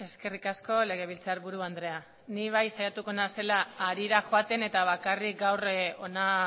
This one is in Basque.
eskerrik asko legebiltzarburu andrea ni bai saiatuko naizela harira joaten eta bakarrik gaur hona